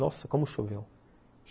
Nossa, como choveu.